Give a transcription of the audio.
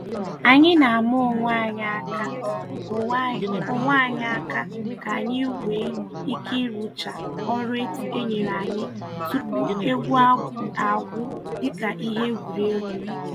Anyị na-ama onwe anyị aka onwe anyị aka k'anyi nwee ike rụchaa ọrụ enyere anyị tupu egwu agwụ dịka ihe egwuregwu.